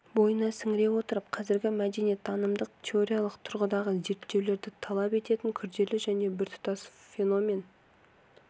бойына сіңіре отырып қазіргі мәдениеттанымдық теориялық тұрғыдағы зерттеулерді талап ететіндей күрделі және біртұтас феномен